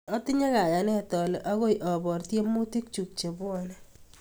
Atinye kayanet ale akoy apor tyemutik chuk che pwone